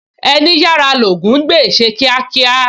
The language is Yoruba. Ẹní yára l'Ògún ń gbè, ṣe kíákíá!